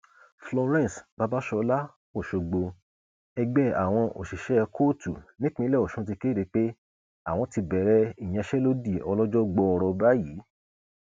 florence babasola ọṣọgbó ẹgbẹ àwọn òṣìṣẹ kóòtù nípínlẹ ọsùn ti kéde pé àwọn ti bẹrẹ ìyanṣẹlódì ọlọjọ gbọọrọ báyìí